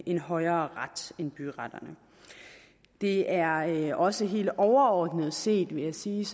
en højere ret end byretterne det er også helt overordnet set vil jeg sige